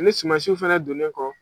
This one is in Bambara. Ni suma siw fana donnen kɔ